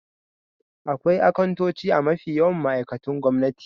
Akwai akantoci a mafi yawan ma'aikatun gwamnati.